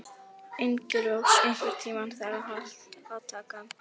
Engilrós, einhvern tímann þarf allt að taka enda.